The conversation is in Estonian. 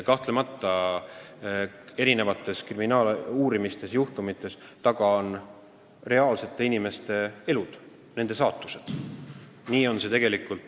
Kahtlemata, erinevate kriminaaluurimise juhtumite taga on reaalsete inimeste elud, nende saatused.